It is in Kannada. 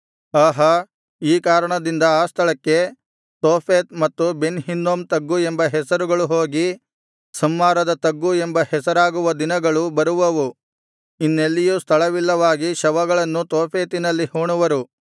ಆಹಾ ಈ ಕಾರಣದಿಂದ ಆ ಸ್ಥಳಕ್ಕೆ ತೋಫೆತ್ ಮತ್ತು ಬೆನ್ ಹಿನ್ನೋಮಿನ ತಗ್ಗು ಎಂಬ ಹೆಸರುಗಳು ಹೋಗಿ ಸಂಹಾರದ ತಗ್ಗು ಎಂಬ ಹೆಸರಾಗುವ ದಿನಗಳು ಬರುವವು ಇನ್ನೆಲ್ಲಿಯೂ ಸ್ಥಳವಿಲ್ಲವಾಗಿ ಶವಗಳನ್ನು ತೋಫೆತಿನಲ್ಲಿ ಹೂಣುವರು